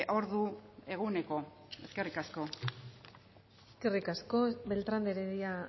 ordu eguneko eskerrik asko eskerrik asko beltrán de heredia